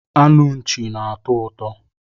Anu nchi na-atọ ụtọ